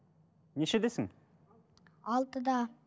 нешедесің алтыда